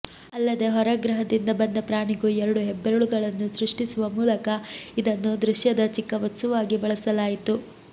ಅಲ್ಲದೇ ಹೊರಗ್ರಹದಿಂದ ಬಂದ ಪ್ರಾಣಿಗೂ ಎರಡು ಹೆಬ್ಬೆರೆಳುಗಳನ್ನು ಸೃಷ್ಟಿಸುವ ಮೂಲಕ ಇದನ್ನು ದೃಶ್ಯದ ಚಿಕ್ಕ ವಸ್ತುವಾಗಿ ಬಳಸಲಾಯಿತು